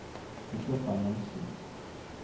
Kristoffer Monsen